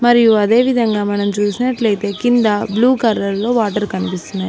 మరియు అదేవిధంగా మనం చూసినట్లయితే కింద బ్లూ కలర్ లో వాటర్ కనిపిస్తున్నాయి.